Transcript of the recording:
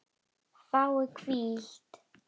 Fái hvíld?